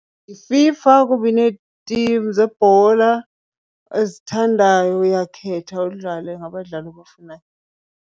YiFIFA kuba ineetim zebhola ozithandayo, uyakhetha udlale ngabadlali obafunayo.